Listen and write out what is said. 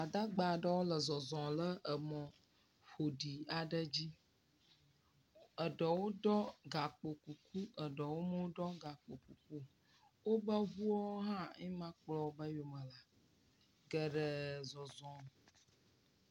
Gbadagba aɖewo le zɔzɔ le emɔ ƒoɖi aɖe dzi, eɖwo ɖɔ gakpo kuku eɖewo meɖɔ gakpo kuku o woƒe ŋuo hã ye ma kplɔ woƒe yome ɖo, geɖee zɔzɔm